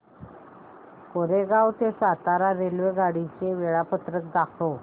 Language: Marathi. कोरेगाव ते सातारा रेल्वेगाडी चे वेळापत्रक दाखव